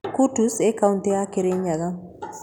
Kutus ĩĩ kauntĩ ya Kirinyaga.